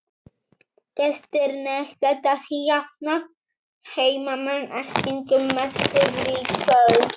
Gestirnir geta því jafnað heimamenn að stigum með sigri í kvöld.